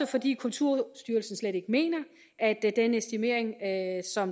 fordi kulturstyrelsen slet ikke mener at